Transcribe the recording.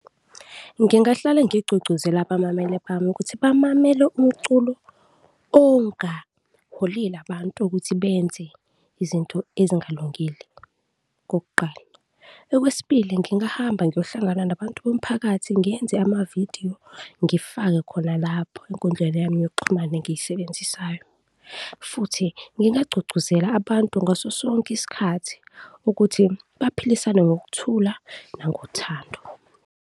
Ngingahlale ngigqugquzela abamamele bami ukuthi bamamele umculo ongaholeli abantu ukuthi benze izinto ezingalungile, kokuqala. Okwesibili ngingahamba ngiyohlangana nabantu bomphakathi, ngiyenze amavidiyo, ngifake khona lapho enkundleni yami yokuxhumana engiyisebenzisayo futhi ngingagqugquzela abantu ngaso sonke isikhathi ukuthi baphilisane ngokuthula nangothando.